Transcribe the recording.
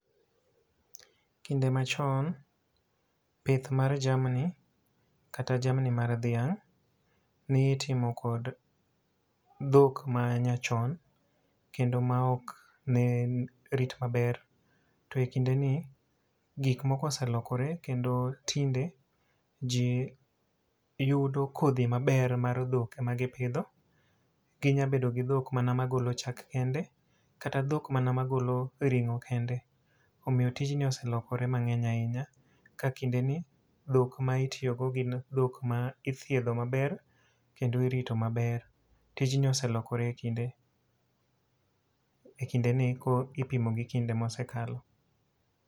Kinde machon, pith mar jamni kata jamni mar dhiang' ni itimo kod dhok manyachon kendo ma ok ne rit maber. To e kinde ni, gik moko oselokore kendo tinde ji yudo kodhi maber mar dhok ema gipidho. Ginya bedo gi dhok mana ma golo chak kende, kata dhok mana ma golo ring'o kende. Omiyo tijni oselokore mang'eny ahinya, ka kinde ni dhok ma itiyogo gin dhok ma ithiedho maber kendo irito maber. Tijni oselokore e kinde, e kinde ni kipimo gi kinde mosekalo.